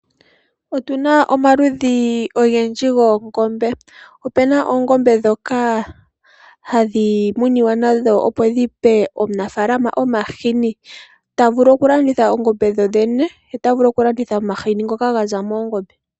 Otuna omaludhi ogendji goongombe. Opuna oongombe ndhoka hadhi muniwa nadho opo dipe omunafalama omahini tavulu okulanditha oongombe dhodhene ye otavulu okulanditha omahini ngoka gaza moongombe.